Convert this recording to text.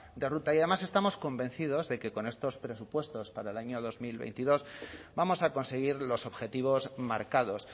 de ruta y además estamos convencidos de que con estos presupuestos para el año dos mil veintidós vamos a conseguir los objetivos marcados